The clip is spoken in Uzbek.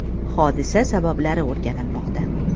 Hodisa sabablari o‘rganilmoqda.